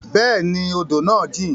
Bẹẹni, odo naa jin